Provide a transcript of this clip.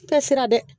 I tɛ siran dɛ